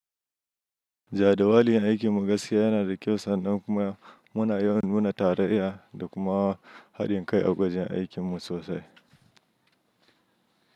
Jadawalin aikin mu gaskiya yana da kyau sannan kuma muna yawan nuna tarayya da kuma haɗin kai a gwajin aikin mu sosai.